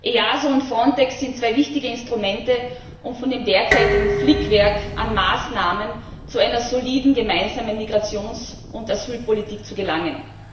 EASO und Frontex sind zwei wichtige Instrumente, um von dem derzeitigen Flickwerk an Maßnahmen zu einer soliden gemeinsamen Migrations und Asylpolitik zu gelangen.